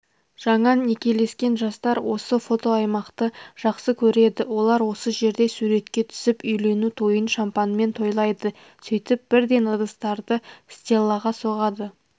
жаңа некелескен жастар осы фотоаймақты жақсы көреді олар осы жерде суретке түсіп үйлену тойын шампанмен тойлайды сөйтіп бірден ыдыстарды стеллаға соғады